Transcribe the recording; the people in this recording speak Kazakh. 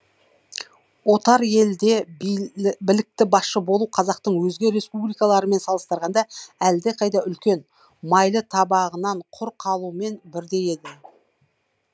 отар елде білікті басшы болу қазақтың өзге республикалармен салыстырғанда әлдеқайда үлкен майлы табағынан құр қалумен бірдей еді